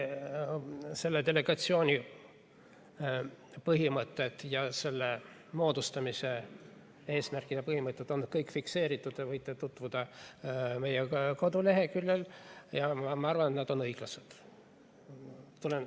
Selle delegatsiooni põhimõtted, selle moodustamise eesmärgid ja põhimõtted on kõik fikseeritud, te võite tutvuda nendega meie koduleheküljel, ja ma arvan, et nad on õiglased.